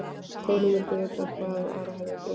Þórunn vildi vita hvað Ara hefði dreymt.